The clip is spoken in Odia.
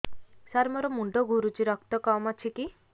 ସାର ମୋର ମୁଣ୍ଡ ଘୁରୁଛି ରକ୍ତ କମ ଅଛି କି